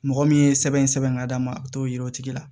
Mɔgɔ min ye sɛbɛn sɛbɛn ka d'a ma a t'o yira o tigi la